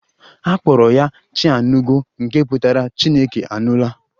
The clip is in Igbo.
A kpọrọ ya 'Chianugo' nke pụtara 'Chineke anụla'